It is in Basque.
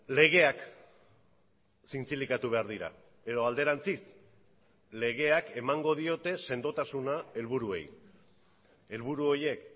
legeak zintzilikatu behar dira edo alderantziz legeak emango diote sendotasuna helburuei helburu horiek